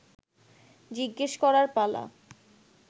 জিজ্ঞেস করার পালা